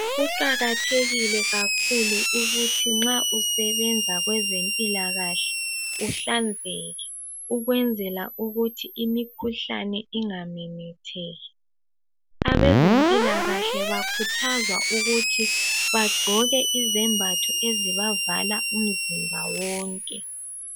Kuqakathekile kakhulu ukuthi nxa usebenza kwezempilakahle uhlanzeke, ukwenzela ukuthi imikhuhlane ingamemetheki. Abezempilakahle bakhuthazwa ukuthi bagqoke izembatho ezibavala umzimba wonke.